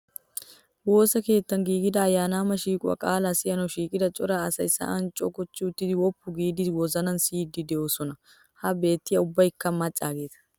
Woosa keettan giigida ayyaanama shiiquwaa qaalaa siyanawu shiiqida cora asayi sa"an cogochchi uttidi woppu viida wozanan siiddi doosona. Ha beettiyaa ubbayikka maccaageeta.